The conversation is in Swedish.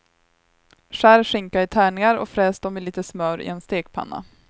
Skär skinka i tärningar och fräs dem i lite smör i en stekpanna.